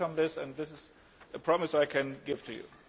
I welcome this and this is a promise I can give you.